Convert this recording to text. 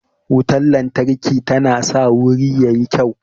Wutan lantarki tana sa wuri yayi kyau